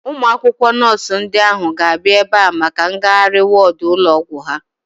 Ụmụ akwụkwọ nọọsu ndị ahu ga-abịa ebea maka ngagharị wọọdu ụlọ ọgwụ ha